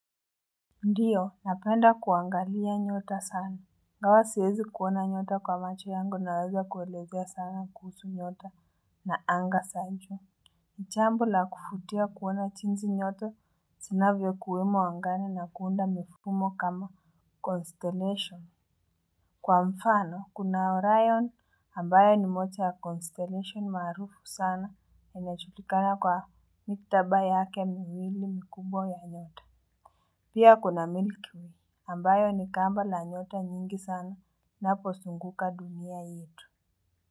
Ndiyo, napenda kuangalia nyota sana. Ngawa siezi kuona nyota kwa macho yangu naweza kuwelezea sana kuhusu nyota na anga sa juu. Ni chambo la kufutia kuona chinzi nyota sinavyo kuwemo angani na kuunda mifumo kama constellation. Kwa mfano, kuna Orion ambayo ni mocha constellation maarufu sana yanachulikana kwa miktaba yake miwili mikubwa ya nyota. Pia kuna milkway. Ambayo ni kamba la nyota nyingi sana naposunguka dunia yetu.